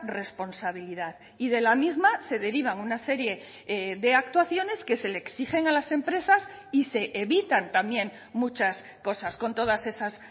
responsabilidad y de la misma se derivan una serie de actuaciones que se le exigen a las empresas y se evitan también muchas cosas con todas esas